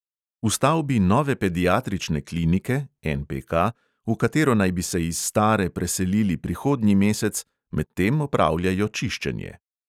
V stavbi nove pediatrične klinike v katero naj bi se iz stare preselili prihodnji mesec, medtem opravljajo čiščenje.